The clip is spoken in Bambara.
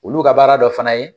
Olu ka baara dɔ fana ye